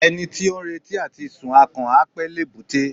Ẹni tí ó ń retí àti sun akàn, á pẹ́ l'èbúté.